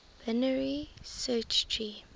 binary search tree